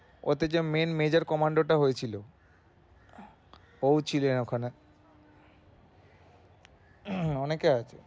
ওতে যে main major commander টা হয়েছিলো ও ছিলেন ওখানে। অনেকে আছে